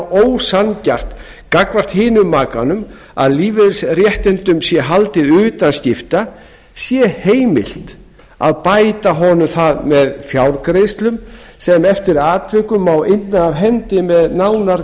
ósanngjarnt gagnvart hinum makanum að lífeyrisréttindum sé haldið utan skipta sé heimilt að bæta honum það með fjárgreiðslum sem eftir atvikum má inna af hendi með nánar